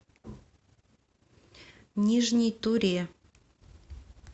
нижней туре